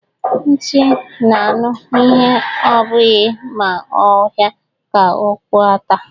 Nti n'anụ ihe ọ bụghị ma ọha ka ọkpụ átaà